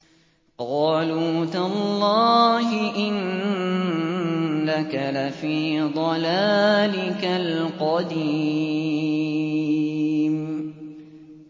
قَالُوا تَاللَّهِ إِنَّكَ لَفِي ضَلَالِكَ الْقَدِيمِ